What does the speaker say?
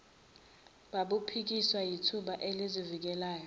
babuphikiswa yithimba elizivikelayo